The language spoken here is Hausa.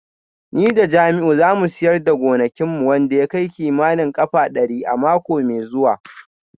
Ni da Jamiu za mu siyar da gonakin mu wanda ya kai kimanin kafa dari a mako mai zuwa